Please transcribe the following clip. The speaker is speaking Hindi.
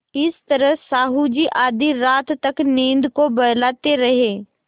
इस तरह साहु जी आधी रात तक नींद को बहलाते रहे